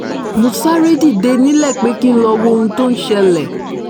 mo sáré dìde nílé pé kí n lọ́ọ́ wo ohun tó ń ṣẹlẹ̀